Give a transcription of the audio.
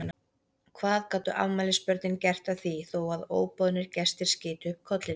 Hvað gátu afmælisbörnin gert að því þó að óboðnir gestir skytu upp kollinum?